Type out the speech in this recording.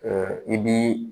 i b'i